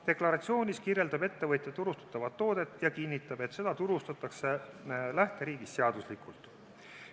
Deklaratsioonis kirjeldab ettevõtja turustatavat toodet ja kinnitab, et seda turustatakse lähteriigis seaduslikult.